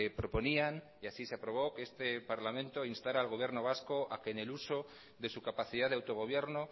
proponían y así se aprobó que este parlamento instara al gobierno vasco a que en el uso de su capacidad de autogobierno